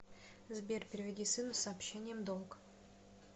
сбер переведи сыну с сообщением долг